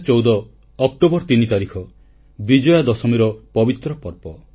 2014 October 3 ତାରିଖ ବିଜୟା ଦଶମୀର ପବିତ୍ର ପର୍ବ